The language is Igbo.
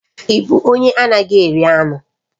Ị bụ onye anaghị eri anụ?